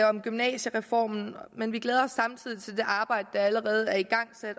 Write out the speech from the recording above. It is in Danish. om gymnasiereformen men vi glæder os samtidig til det arbejde der allerede er igangsat i